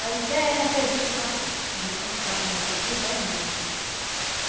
Aí disse, é anestesia que passou, por isso quando passa anestesia, dói muito, né.